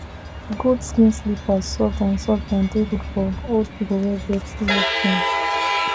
goat skin slippers soft and soft and dey good for old people wey get leg pain